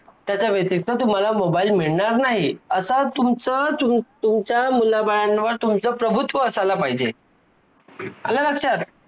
ज्योतिराव फुले यांचे पहिले चरित्र या पहिल्या प्रकरणात लेखकांनी सत्यशोधक चळवळीतील नीती पंढरीनाथ पाटील यांनी पाहिले लिहिलेल्या.